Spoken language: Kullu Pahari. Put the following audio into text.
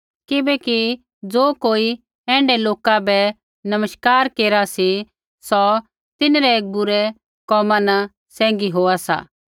किबैकि ज़ो कोई ऐण्ढै लोका बै नमस्कार केरा सा सौ तिन्हरै बूरै कोमा न सैंघी होआ सा